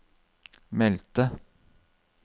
meldte